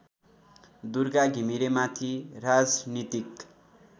दुर्गा घिमिरेमाथि राजनीतिक